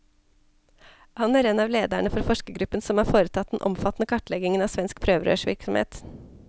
Han er en av lederne for forskergruppen som har foretatt den omfattende kartleggingen av svensk prøverørsvirksomhet.